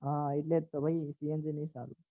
હા એટલે જ તો ભાઈ cng નહી સારું